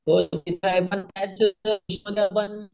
हो ते तर आहे